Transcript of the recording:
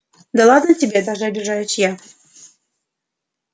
да ладно тебе даже обижаюсь я